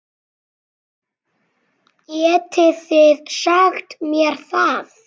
Getið þið sagt mér það?